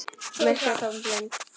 Myrk og tóm og blind.